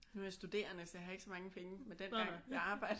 Nu er jeg studerende så jeg har ikke så mange penge men dengang jeg arbejdede